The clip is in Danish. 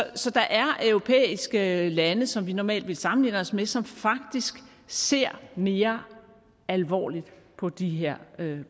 så der er europæiske lande som vi normalt vil sammenligne os med som faktisk ser mere alvorligt på de her